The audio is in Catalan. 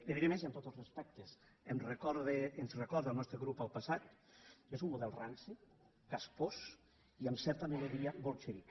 li diré més i amb tots els respectes em recorda ens recorda al nostre grup al passat és un model ranci caspós i amb certa melodia bolxevic